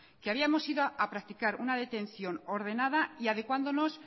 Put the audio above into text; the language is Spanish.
que habíamos ido a practicar una detención ordenada y adecuándonos